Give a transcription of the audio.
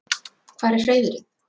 Hvar er hreiðrið?